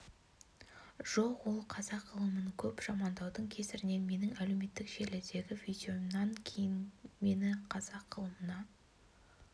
жоқ ол қазақ ғылымын көп жамандаудың кесірінен менің әлеуметтік желідегі видеомнан кейін мені қазақ ғылымына